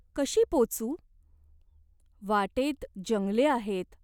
कशी पोचू ? वाटेत जंगले आहेत.